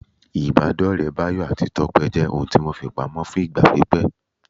Ìbádọ́ọ̀rẹ́ Báyọ̀ àti Tọ́pẹ́ jẹ́ ohun tí wọ́n fi pamọ́ fún ìgbà pípẹ́